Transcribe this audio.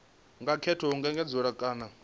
nga katela u engedzedzwa kana